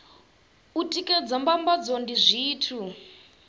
u tikedza mbambadzo ndi zwithu